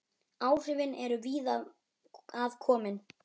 Áhrifin eru víða að komin.